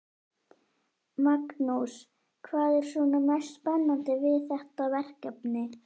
Magnús: Hvað er svona mest spennandi við þetta verkefni?